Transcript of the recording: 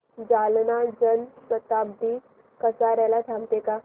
जालना जन शताब्दी कसार्याला थांबते का